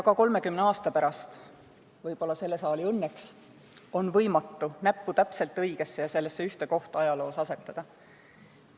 Ka 30 aasta pärast – võib-olla selle saali õnneks – on võimatu näppu täpselt õigesse, sellesse ühte kohta ajaloos asetada.